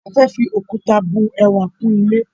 A fẹ́ fi òkúta bu ẹwà kún ilé